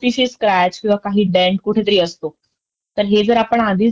की स्क्रॅच, किंवा डेंट सारख्या गोष्टी आहेत त्या आधी आपण तपासून घ्यायला हव्यात. जेणे करून आपल्याला पुढे ह्यचा त्रास होणार नाही.